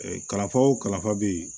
kalanfa wo kalanfa bɛ yen